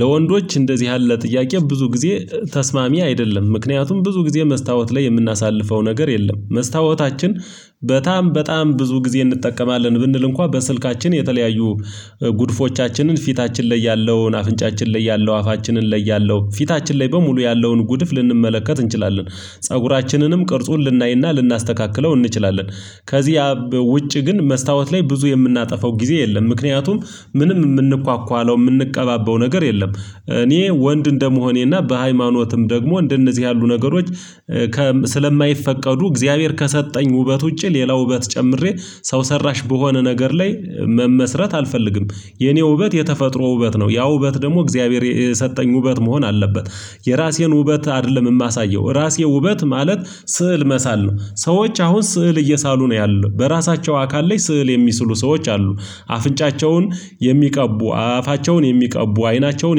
ለወንዶች እንደዚህ ያለ ጥያቄ ብዙ ጊዜ ተስማሚ አይደለም ምክንያቱም ብዙ ጊዜ መስታወት ላይ የምናሳልፈው ነገር የለም። መስታወታችን በጣም በጣም ብዙ ጊዜ እንጠቀማለን ብንል እንኳን በስልካችን የተለያዩ ጉድፎቻችንን ፊታችን ላይ ያለውን አፍንጫችን ላይ ያለው አፋችንን ላይ ያለው ፊታችን ላይ በሙሉ ያለውን ጉድፍ ልንመለከት እንችላለን። ፀጉራችንንም ቅርጹን ልናይና ልናስተካክለው እንችላለን። ከዚህ አ ውጪ ግን መስታወት ላይ ብዙ የምናጠፋው ጊዜ የለም። ምክንያቱም ምንም የምንኳኳለው የምንቀባባው ነገር የለም። እኔ ወንድ እንደመሆኔና በሃይማኖትም ደግሞ እንደነዚህ ያሉ ነገሮች ከ ስለማይፈቀዱ እግዚአብሔር ከሰጠኝ ውበት ውጪ ሌላ ውበት ጨምሬ ሰው ሰራሽ በሆነ ነገር ላይ መመስረት አልፈልግም። የኔ ውበት የተፈጥሮ ውበት ነው ያ ውበት ደግሞ እግዚአብሔር የሰጠኝ ውበት መሆን አለበት። የራሴን ውበት አይደለም የማሳየው ራሴ ውበት ማለት ስዕል መሳል ነው ሰዎች አሁን ስዕል እየሳሉ ነው ያሉት በራሳቸው አካል ላይ ስዕል የሚስሉ ሰዎች አሉ። አፍንጫቸውን የሚቀቡ አፋቸውን የሚቀቡ አይናቸውን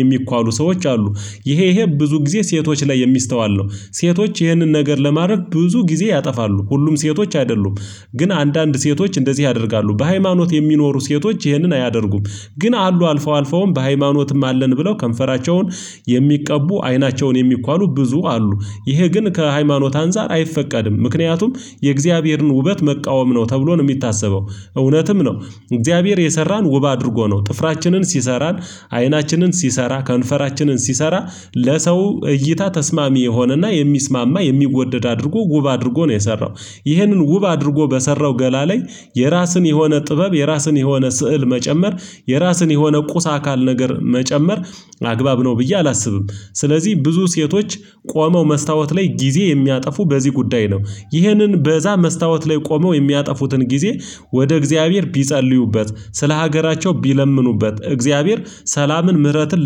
የሚኳሉ ሰዎች አሉ። ይሄ ይሄ ብዙ ጊዜ ሴቶች ላይ የሚስተዋል ነው። ሴቶች ይህንን ነገር ለማድረግ ብዙ ጊዜ ያጠፋሉ ሁሉም ሴቶች አይደሉም። ግን አንዳንድ ሴቶች እንደዚህ ያደርጋሉ በሃይማኖት የሚኖሩ ሴቶች ይህንን አያደርጉም። ግን አሉ አልፈው አልፈውም በሃይማኖትም አለን ብለው ከንፈራቸውን የሚቀቡ አይናቸውን የሚኳሉ ብዙ አሉ። ይሄ ግን ከሃይማኖት አንፃር አይፈቀድም ምክንያቱም የእግዚአብሔርን ውበት መቃወም ነው ተብሎ ነው የሚታሰበው። እውነትም ነው። እግዚአብሔር የሰራን ውብ አድርጎ ነው ጥፍራችንን ሲሰራን አይናችንን ሲሰራ ከንፈራችንን ሲሰራ ለሰው እይታ ተስማሚ የሆነና የሚስማማ የሚወደድ አድርጎ ውብ አድርጎ ነው የሰራው። ይህንን ውብ አድርጎ በሰራው ገላ ላይ የራስን የሆነ ጥበብ የራስን የሆነ ስዕል መጨመር የራስን የሆነ ቁስ አካል ነገር መጨመር አግባብ ነው ብዬ አላስብም። ስለዚህ ብዙ ሴቶች ቆመው መስታወት ላይ ጊዜ የሚያጠፉ በዚህ ጉዳይ ነው። ይህንን በዛ መስታወት ላይ ቆመው የሚያጠፉትን ጊዜ ወደ እግዚአብሔር ቢጸልዩበት ስለ ሀገራቸው ቢለምኑበት እግዚአብሔር ሰላምን ምህረትን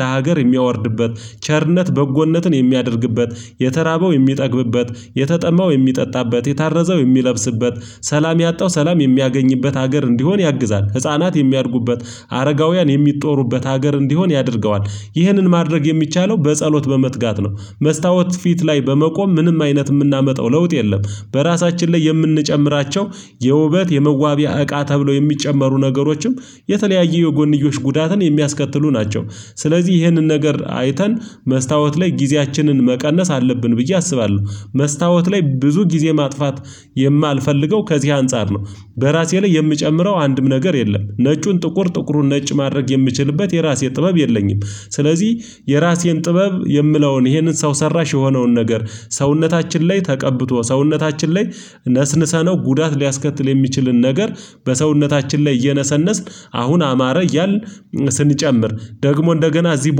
ለሀገር የሚያወርድበት ቸርነት በጎነትን የሚያደርግበት የተራበው የሚጠግብበት የተጠማው የሚጠጣበት የታረዘው የሚለብስበት ሰላም ያጣው ሰላም የሚያገኝበት ሀገር እንዲሆን ያግዛል ህፃናት የሚያድጉበት አረጋውያን የሚጦሩበት ሀገር እንዲሆን ያደርገዋል። ይህንን ማድረግ የሚቻለው በጸሎት በመትጋት ነው መስታወት ፊት ላይ በመቆም ምንም አይነት የምናመጣው ለውጥ የለም። በራሳችን ላይ የምንጨምራቸው የውበት የመዋቢያ እቃ ተብለው የሚጨመሩ ነገሮችም የተለያየ የጎንዮሽ ጉዳትን የሚያስከትሉ ናቸው። ስለዚህ ይህንን ነገር አይተን መስታወት ላይ ጊዜያችንን መቀነስ አለብን ብዬ አስባለሁ። መስታወት ላይ ብዙ ጊዜ ማጥፋት የማልፈልገው ከዚህ አንፃር ነው። በራሴ ላይ የምጨምረው አንድም ነገር የለም ነጩን ጥቁር ጥቁሩን ነጭ ማድረግ የምችልበት የራሴ ጥበብ የለኝም። ስለዚህ የራሴን ጥበብ የምለውን ይሄንን ሰው ሰራሽ የሆነውን ነገር ሰውነታችን ላይ ተቀብቶ ሰውነታችን ላይ ነስንሰነው ጉዳት ሊያስከትል የሚችልን ነገር በሰውነታችን ላይ እየነሰነስን አሁን አማረ እያልን ስንጨምር ደግሞ እንደገና እዚህ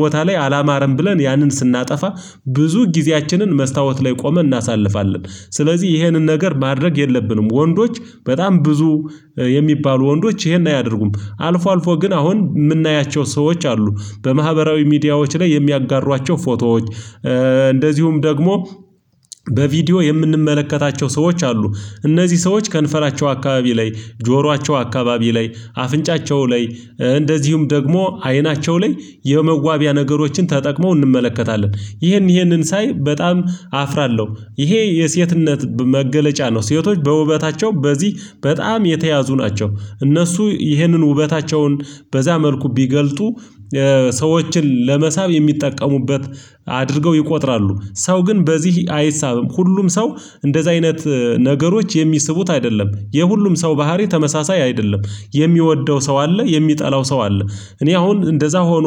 ቦታ ላይ አላማረም ብለን ያንን ስናጠፋ ብዙ ጊዜያችንን መስታወት ላይ ቆመን እናሳልፋለን። ስለዚህ ይሄንን ነገር ማድረግ የለብንም ወንዶች በጣም ብዙ የሚባሉ ወንዶች ይሄን አያደርጉም አልፎ አልፎ ግን አሁን የምናያቸው ሰዎች አሉ። በማህበራዊ ሚዲያዎች ላይ የሚያጋሯቸው ፎቶዎች እንደዚሁም ደግሞ በቪዲዮ የምንመለከታቸው ሰዎች አሉ። እነዚህ ሰዎች ከንፈራቸው አካባቢ ላይ ጆሯቸው አካባቢ ላይ አፍንጫቸው ላይ እንደዚሁም ደግሞ አይናቸው ላይ የመዋቢያ ነገሮችን ተጠቅመው እንመለከታለን። ይህን ይህንን ሳይ በጣም አፍራለሁ። ይሄ የሴትነት መገለጫ ነው ሴቶች በውበታቸው በዚህ በጣም የተያዙ ናቸው። እነሱ ይህንን ውበታቸውን በዛ መልኩ ቢገልጡ ሰዎችን ለመሳብ የሚጠቀሙበት አድርገው ይቆጥራሉ። ሰው ግን በዚህ አይሳብም ሁሉም ሰው እንደዚህ አይነት ነገሮች የሚስቡት አይደለም የሁሉም ሰው ባህሪ ተመሳሳይ አይደለም። የሚወደው ሰው አለ የሚጠላው ሰው አለ። እኔ አሁን እንደዛ ሆኖ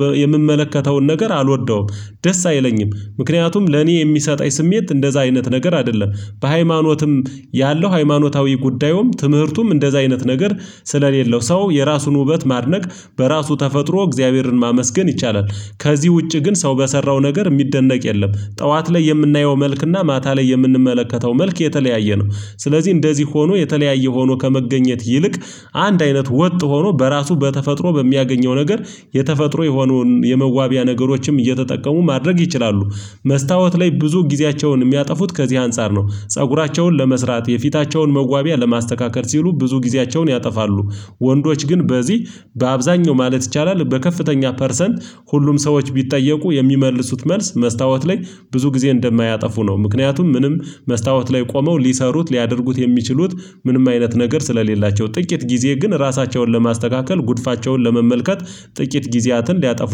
በየምመለከተውን ነገር አልወደውም። ደስ አይለኝም ምክንያቱም ለኔ የሚሰጠኝ ስሜት እንደዛ አይነት ነገር አይደለም። በሃይማኖትም ያለው ሃይማኖታዊ ጉዳዩም ትምህርቱም እንደዛ አይነት ነገር ስለሌለው ሰው የራሱን ውበት ማድነቅ በራሱ ተፈጥሮ እግዚአብሔርን ማመስገን ይቻላል። ከዚህ ውጪ ግን ሰው በሰራው ነገር የሚደነቅ የለም ጠዋት ላይ የምናየው መልክና ማታ ላይ የምንመለከተው መልክ የተለያየ ነው። ስለዚህ እንደዚህ ሆኖ የተለያየ ሆኖ ከመገኘት ይልቅ አንድ አይነት ወጥ ሆኖ በራሱ በተፈጥሮ በሚያገኘው ነገር የተፈጥሮ የሆኑን የመዋቢያ ነገሮችም እየተጠቀሙ ማድረግ ይችላሉ። መስታወት ላይ ብዙ ጊዜያቸውን የሚያጠፉት ከዚህ አንፃር ነው ፀጉራቸውን ለመስራት የፊታቸውን መዋቢያ ለማስተካከል ሲሉ ብዙ ጊዜያቸውን ያጠፋሉ። ወንዶች ግን በዚህ በአብዛኛው ማለት ይቻላል በከፍተኛ ፐርሰንት ሁሉም ሰዎች ቢጠየቁ የሚመልሱት መልስ መስታወት ላይ ብዙ ጊዜ እንደማያጠፉ ነው። ምክንያቱም ምንም መስታወት ላይ ቆመው ሊሰሩት ሊያደርጉት የሚችሉት ምንም አይነት ነገር ስለሌላቸው ጥቂት ጊዜ ግን ራሳቸውን ለማስተካከል ጉድፋቸውን ለመመልከት ጥቂት ጊዜያትን ሊያጠፉ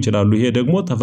ይችላሉ። ይሄ ደግሞ ተፈ